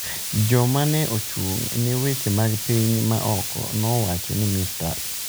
Jalo ma ne ochung’ ne weche mag piny ma oko nowacho ni Mr.